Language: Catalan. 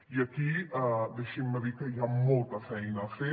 i aquí deixin me dir que hi ha molta feina a fer